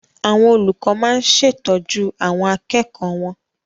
Àwọn olùkọ máa ń ṣètọ́jú àwọn akẹ́kọ̀ọ́ wọn.